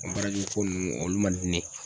N ko baara jugu ko nunnu ,olu man di ne ye.